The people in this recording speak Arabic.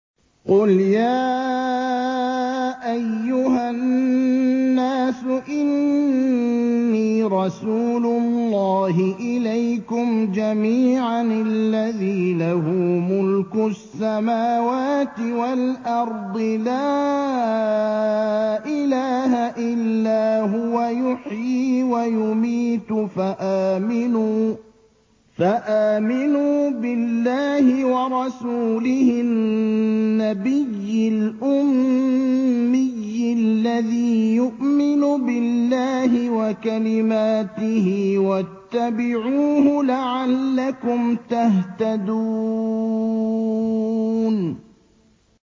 قُلْ يَا أَيُّهَا النَّاسُ إِنِّي رَسُولُ اللَّهِ إِلَيْكُمْ جَمِيعًا الَّذِي لَهُ مُلْكُ السَّمَاوَاتِ وَالْأَرْضِ ۖ لَا إِلَٰهَ إِلَّا هُوَ يُحْيِي وَيُمِيتُ ۖ فَآمِنُوا بِاللَّهِ وَرَسُولِهِ النَّبِيِّ الْأُمِّيِّ الَّذِي يُؤْمِنُ بِاللَّهِ وَكَلِمَاتِهِ وَاتَّبِعُوهُ لَعَلَّكُمْ تَهْتَدُونَ